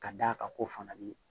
Ka d'a kan ko fana bɛ